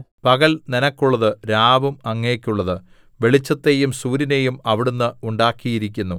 പകൽ നിനക്കുള്ളത് രാവും അങ്ങേക്കുള്ളത് വെളിച്ചത്തെയും സൂര്യനെയും അവിടുന്ന് ഉണ്ടാക്കിയിരിക്കുന്നു